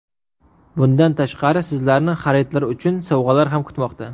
Bundan tashqari, sizlarni xaridlar uchun sovg‘alar ham kutmoqda.